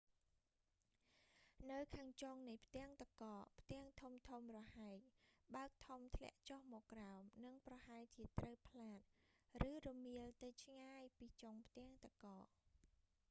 នៅខាងចុងនៃផ្ទាំងទឹកកក ផ្ទាំងធំៗរហែកបើកធំ ធ្លាក់ចុះមកក្រោម និងប្រហែលជាត្រូវផ្លាត ឬរមៀលទៅឆ្ងាយពីចុងផ្ទាំងទឹកកក